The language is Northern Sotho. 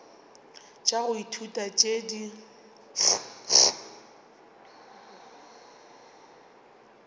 tša go ithuta tšeo di